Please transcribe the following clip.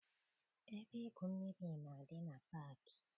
Ebe igwu mmiri na-adị na paakị.